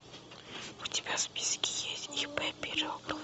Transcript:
у тебя в списке есть ип пирогова